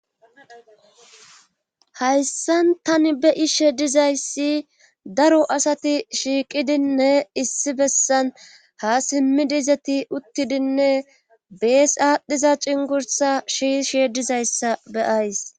Hayssan tani be ishe dizayssi daro asati shiiqidinne issi bessan ha simmidiizati uttidinne bees aadhdhiza cingursa shi she dizayssa beyays